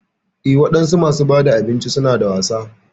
Eh wadansu masu bada abinci suna da wasa.